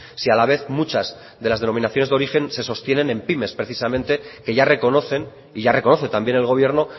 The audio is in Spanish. si a la vez muchas de las denominaciones de origen se sostienen en pymes precisamente que ya reconocen y ya reconoce también el gobierno